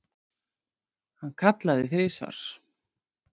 Hann kallaði þrisvar.